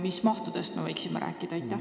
Mis mahtudest me võiksime rääkida?